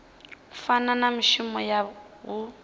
fana na mushumo na huhuwedzo